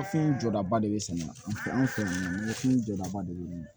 Fɛn jɔdaba de be sɛnɛ an fɛ yan fini jɔdaba de be ɲini